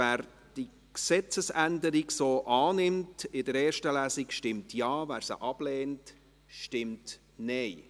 Wer die Gesetzesänderung in der ersten Lesung so annimmt, stimmt Ja, wer sie ablehnt, stimmt Nein.